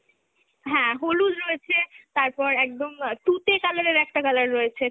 হ্যাঁ, হলুদ রয়েছে, তারপর একদম অ্যাঁ তুতে colour এর একটা colour রয়েছে,